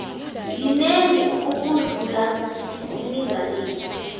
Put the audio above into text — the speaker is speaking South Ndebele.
yinengi ukudlula isilinganiso